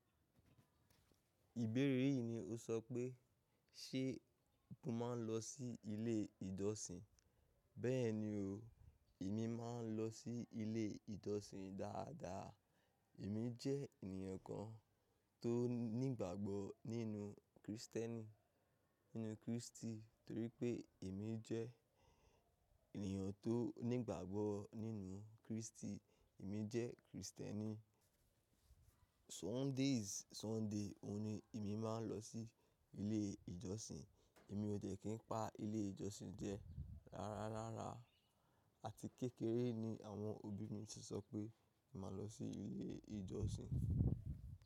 Ìbéèrè yìí ni o sọ pé, ṣe mo máa ń lọ sí ilé ìjọ́ṣin? Bẹ́ẹ̀ni o, èmi máa ń lọ sí ilé ìjọ́ṣin dáadáa. Èmi jẹ́ ènìyàn kan tó ní ìgbàgbọ́ nínú Krìstẹ́nì, nínú Kristi. Torí pé èmi jẹ́ ènìyàn tó ní ìgbàgbọ́ nínú Kristi, èmi jẹ́ Krìstẹ́nì. Sundays, Sunday, òun ni èmi máa ń lọ sí ilé ìjọsìn. Èmi ò de kí n pa ilé ìjọsìn jẹ. Rárá, rárá. Àti kékeré ni àwọn òbí mi ti sọ pé mà lọ sí ilé ìjọsìn.